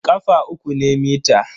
ƙafa uku ne mita.